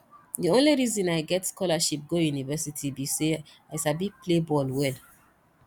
the only reason i get scholarship go university be say i sabi play ball well